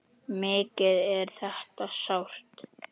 Mikið er þetta sárt.